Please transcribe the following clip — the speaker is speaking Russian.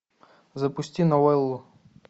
запусти новеллу